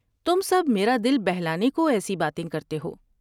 تم سب میرا دل بہلانے کو ایسی باتیں کرتے ہو ۔